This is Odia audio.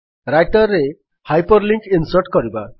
ରାଇଟର୍ ରେ ହାଇପର୍ ଲିଙ୍କ୍ ଇନ୍ସର୍ଟ କରିବା